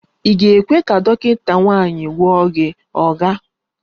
Ị ga-ekwe ka dọkịta nwanyị gwọọ gị, oga?